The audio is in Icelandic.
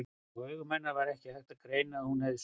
Á augum hennar var ekki hægt að greina að hún hefði sofið.